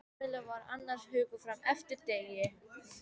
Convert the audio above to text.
Kamilla var annars hugar fram eftir degi.